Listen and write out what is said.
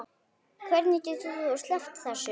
Hvernig getur þú sleppt þessu?